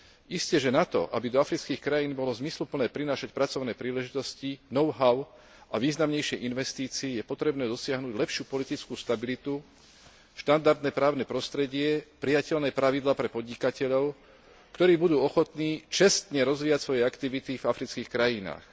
Isteže na to, aby do afrických krajín bolo zmysluplné prinášať pracovné príležitosti, know how a významnejšie investície, je potrebné dosiahnuť lepšiu politickú stabilitu, štandardné právne prostredie, prijateľné pravidlá pre podnikateľov, ktorí budú ochotní čestne rozvíjať svoje aktivity v afrických krajinách.